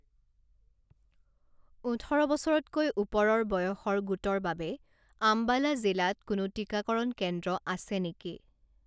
ওঠৰ বছৰতকৈ ওপৰৰ বয়সৰ গোটৰ বাবে আম্বালা জিলাত কোনো টিকাকৰণ কেন্দ্ৰ আছে নেকি?